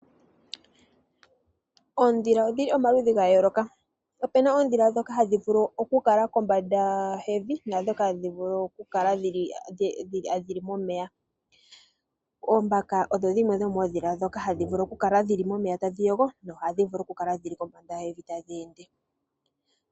Oodhila odhili omaludhi ga yooloka. Opena oodhila dhoka hadhi vulu oku kala kombanda yevi, naa dhoka hadhi vulu oku kala dhili momeya. Oombaka odho dhimwe dhomoodhila dhoka hadhi vulu oku kala dhili momeya tadhi yogo, no hadhi vulu oku kala kombanda yevi tadhi ende